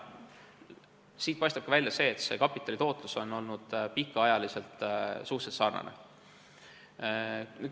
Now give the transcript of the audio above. Siit paistabki välja, et kapitali tootlus on olnud pikaajaliselt suhteliselt sarnane.